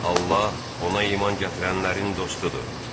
Allah ona iman gətirənlərin dostudur.